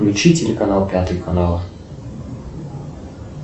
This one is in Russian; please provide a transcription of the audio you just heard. включи телеканал пятый канал